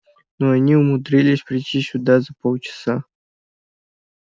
но они умудрились прийти сюда за полчаса